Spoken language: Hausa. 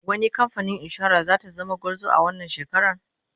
wani kamfanin insura zata zama gwarzo wannan shekaran?